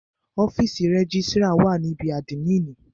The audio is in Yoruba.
Ọ́fìsì rẹ́gísrà wà ní ibí àdmínìì.